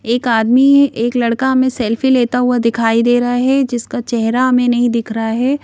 एक आदमी एक लड़का हमें सेल्फी लेता हुआ दिखाई दे रहा है जिसका चेहरा हमें नहीं दिख रहा है।